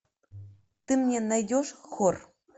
ты мне найдешь хор